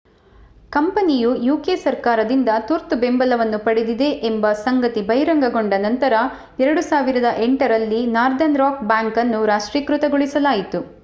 ಕಂಪನಿಯು ಯುಕೆ ಸರ್ಕಾರದಿಂದ ತುರ್ತು ಬೆಂಬಲವನ್ನು ಪಡೆದಿದೆ ಎಂಬ ಸಂಗತಿ ಬಹಿರಂಗಗೊಂಡ ನಂತರ 2008 ರಲ್ಲಿ ನಾರ್ದರ್ನ್ ರಾಕ್ ಬ್ಯಾಂಕ್ ಅನ್ನು ರಾಷ್ಟ್ರೀಕರಣಗೊಳಿಸಲಾಯಿತು